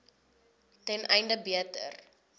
ten einde beter